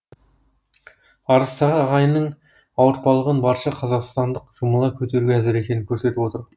арыстағы ағайынның ауыртпалығын барша қазақстандық жұмыла көтеруге әзір екенін көрсетіп отыр